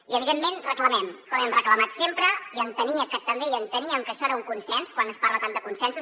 i evidentment reclamem com hem reclamat sempre i enteníem que això era un consens quan es parla tant de consensos